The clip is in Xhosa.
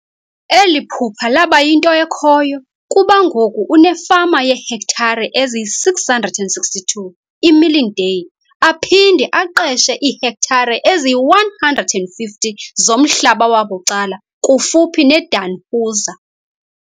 Eli phupha laba yinto ekhoyo kuba ngoku unefama yeehektare eziyi-662 iMilindale aphinde aqeshe iihektare eziyi-150 zomhlaba wabucala kufuphi neDannhauser.